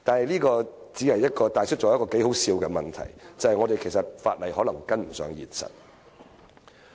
這帶出了一個頗為可笑的問題，就是我們的法例可能追不上現實。